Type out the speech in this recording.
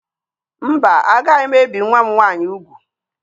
Mba, agaghị m ebi nwa m nwaanyị ugwu.